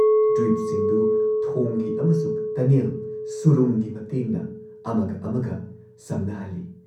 ꯗ꯭ꯋꯤꯞꯁꯤꯡꯗꯨ ꯊꯣꯡꯒꯤ ꯑꯃꯁꯨꯡ ꯇꯅꯦꯜ (ꯁꯨꯔꯨꯡꯒꯤ) ꯃꯇꯦꯡꯅ ꯑꯃꯒ ꯑꯃꯒ ꯁꯝꯅꯍꯜꯂꯤ ꯫